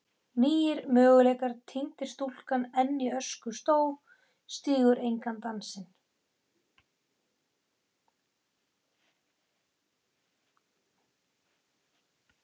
nýir möguleikar týndir stúlkan enn í öskustó stígur engan dansinn